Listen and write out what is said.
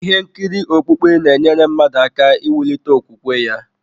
Ihe nkiri okpukpe na-enyere mmadụ aka iwulite okwukwe ya.